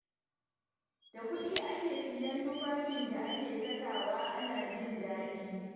Da kuɗi ake sayen tufafin da ake sakawa ana jin daɗi.